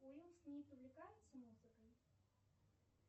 уилл смит увлекается музыкой